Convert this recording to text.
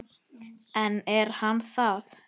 En er hann það?